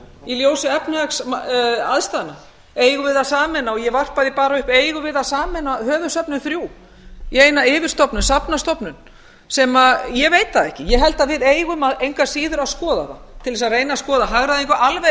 í ljósi efnahagsaðstæðna eigum við að sameina ég varpa því bara upp eigum við að sameina höfuðsöfnin þrjú í eina yfirstofnun safnastofnun sem ég veit það ekki ég held að við eigum engu að síður að skoða það til þess að reyna að skoða hagræðingu alveg